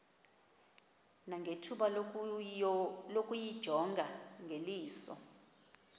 nangethuba lokuyijonga ngeliso